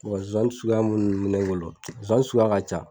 Ɔ nsonsannin suguya min bɛ ne bolo nsonsannin suguya ka ca